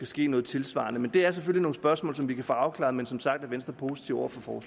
sker noget tilsvarende men det er selvfølgelig nogle spørgsmål som vi kan få afklaret som sagt er venstre positiv over for